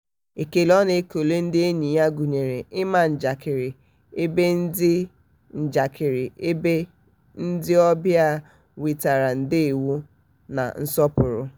ekele ọ na-ekele ndị enyi ya gụnyere ịma njakịrị ebe ndị njakịrị ebe ndị obịa nwetere ndewo na nsọpụrụ.